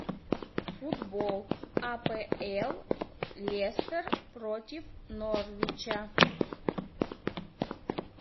футбол апл лестер против норвича